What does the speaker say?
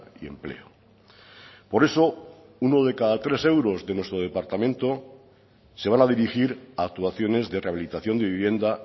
y empleo por eso uno de cada tres euros de nuestro departamento se van a dirigir a actuaciones de rehabilitación de vivienda